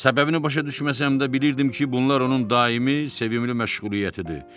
Səbəbini başa düşməsəm də bilirdim ki, bunlar onun daimi sevimli məşğuliyyətidir.